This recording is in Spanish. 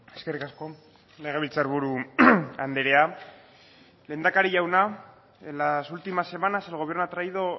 eskerrik asko legebiltzarburu andrea lehendakari jauna en las últimas semanas el gobierno ha traído